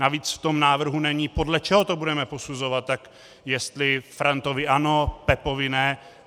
Navíc v tom návrhu není, podle čeho to budeme posuzovat, jestli Frantovi ano, Pepovi ne.